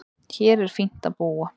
Hér er fínt að búa.